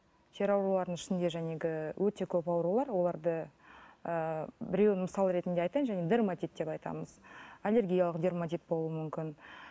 тері аурулардың ішінде өте көп аурулар оларды ы біреуін мысал ретінде айтайын жаңа дерматит деп атаймыз аллергиялық дерматит болуы мүмкін